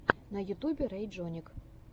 на ютьюбе рэйджонник